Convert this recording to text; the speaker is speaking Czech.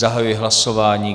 Zahajuji hlasování.